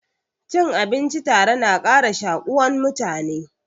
Cin abinci tare na ƙara shakuwan mutane.